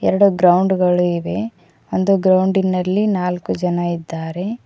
ಎರಡು ಗ್ರೌಂಡ್ ಗಳು ಇವೆ ಒಂದು ಗ್ರೌಂಡಿನಲ್ಲಿ ನಾಲ್ಕು ಜನ ಇದ್ದಾರೆ.